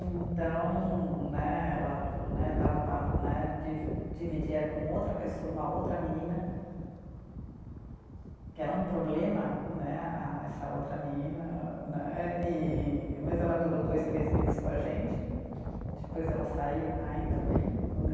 Então né, ela né, estava né, divi, dividia com outra pessoa, uma outra menina, que era um problema né, a essa outra menina né e, mas ela durou dois, três meses com a gente, depois ela saiu, ainda bem, né